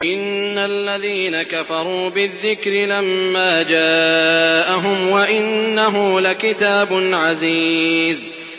إِنَّ الَّذِينَ كَفَرُوا بِالذِّكْرِ لَمَّا جَاءَهُمْ ۖ وَإِنَّهُ لَكِتَابٌ عَزِيزٌ